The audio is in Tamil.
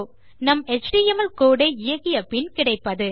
நம் எச்டிஎம்எல் கோடு ஐ இயக்கிய பின் கிடைப்பது